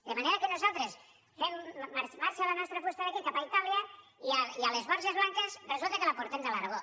de manera que marxa la nostra fusta d’aquí cap a itàlia i a les borges blanques resulta que la portem de l’aragó